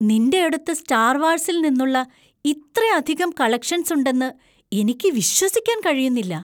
നിൻ്റെയടുത്ത് star വാർസിൽ നിന്നുള്ള ഇത്രയധികം കളക്ഷൻസ് ഉണ്ടെന്ന് എനിക്ക് വിശ്വസിക്കാൻ കഴിയുന്നില്ല.